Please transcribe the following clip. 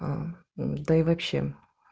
да и вообще